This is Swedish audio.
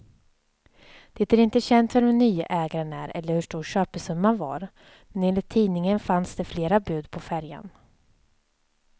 Det är inte känt vem den nye ägaren är eller hur stor köpesumman var, men enligt tidningen fanns det flera bud på färjan.